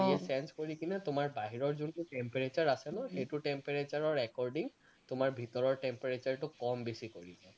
change কৰি কিনে তোমাৰ বাহিৰৰ যোনটো temperature আছে নহয় সেইটো temperature ৰ according তোমাৰ ভিতৰৰ temperature টো কম বেছি কৰি লয়